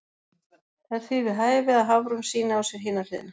Það er því við hæfi að Hafrún sýni á sér hina hliðina.